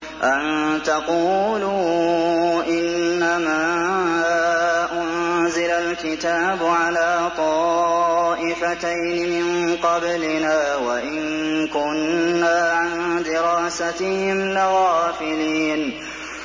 أَن تَقُولُوا إِنَّمَا أُنزِلَ الْكِتَابُ عَلَىٰ طَائِفَتَيْنِ مِن قَبْلِنَا وَإِن كُنَّا عَن دِرَاسَتِهِمْ لَغَافِلِينَ